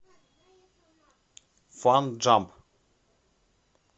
фан джамп